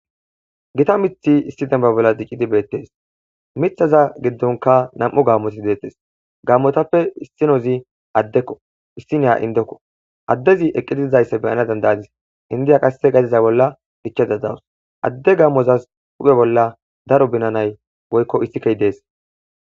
Gita mithi issi demba bolla diqidi beettes mithaza giddonka nam7u gammoti deettes gammotappe issinozi addekko issi neya indekko addezi eqqidizaysse beyana dandaadis indiya qasse gaziza bolla gichada dawus adde gammozas huphe bolla daro binanay woykko issikkehi dees.